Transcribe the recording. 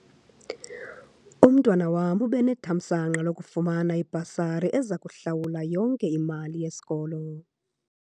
Umntwana wam ube nethamsanqa lokufumana ibhasari eza kuhlawula yonke imali yesikolo.